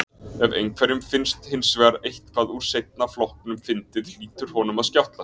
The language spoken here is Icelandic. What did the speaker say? Ef einhverjum finnst hins vegar eitthvað úr seinna flokknum fyndið hlýtur honum að skjátlast.